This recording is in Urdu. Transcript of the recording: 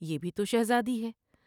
یہ بھی تو شہزادی ہے ۔